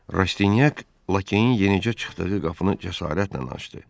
Rastinyak Lakeyin yenicə çıxdığı qapını cəsarətlə açdı.